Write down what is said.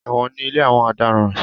Ẹ̀wọ̀n ni ilé àwọn ọ̀daràn.